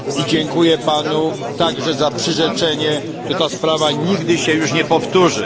Dziękuję Panu także za przyrzeczenie, że ta sprawa nigdy się już nie powtórzy.